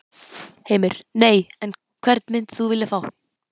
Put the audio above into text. Heimir: Nei, en hvern myndir þú vilja fá?